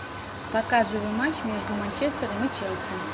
показывай матч между манчестером и челси